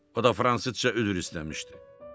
O da fransızca üzr istəmişdi.